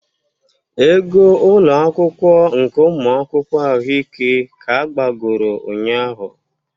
Ego ụlọ akwụkwọ nke ụmụ akwụkwọ ahụike ka agbagoro ụnyahụ